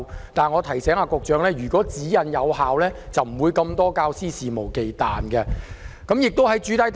然而，我提醒局長，如果指引有效，就不會出現眾多肆無忌憚的教師。